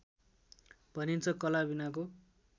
भनिन्छ कला बिनाको